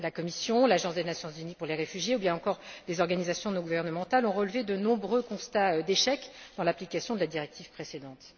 La Commission, l'Agence des Nations unies pour les réfugiés ou bien encore les organisations non gouvernementales ont relevé de nombreux constats d'échec dans l'application de la directive précédente.